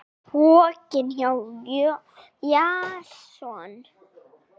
Pokinn hjá Jason